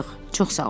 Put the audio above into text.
Çox sağ ol.